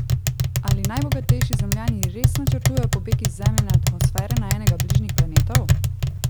Ali najbogatejši Zemljani res načrtujejo pobeg iz Zemljine atmosfere na enega bližnjih planetov?